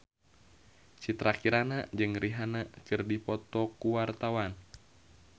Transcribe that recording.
Citra Kirana jeung Rihanna keur dipoto ku wartawan